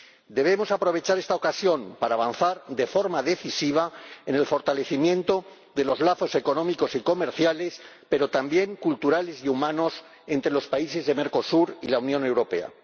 Debemos aprovechar esta ocasión para avanzar de forma decisiva en el fortalecimiento de los lazos económicos y comerciales, pero también culturales y humanos entre los países de Mercosur y la Unión Europea.